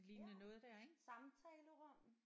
Ja samtalerum